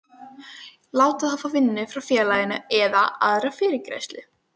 láta þá fá vinnu hjá félaginu eða aðra fyrirgreiðslu.